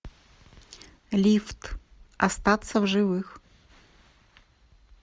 лифт остаться в живых